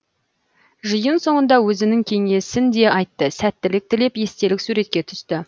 жиын соңында өзінің кеңесін де айтты сәттілік тілеп естелік суретке түсті